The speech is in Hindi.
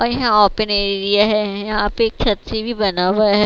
अ यहां आपन एरिया है यहां पे एक छत सी भी बना हुआ है।